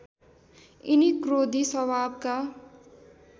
यिनी क्रोधी स्वभावका